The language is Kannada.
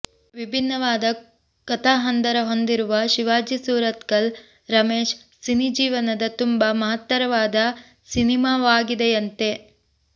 ವಿಭಿನ್ನವಾದ ಕತಾಹಂದರ ಹೊಂದಿರುವ ಶಿವಾಜಿ ಸೂರತ್ಕಲ್ ರಮೇಶ್ ಸಿನಿ ಜೀವನದ ತುಂಬಾ ಮಹತ್ತರವಾದ ಸಿನಿಮಾವಾಗಿದೆಯಂತೆ